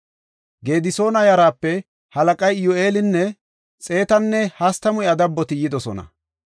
Gedisoona yaraape halaqay Iyyu7eelinne xeetanne hastamu iya dabboti yidosona.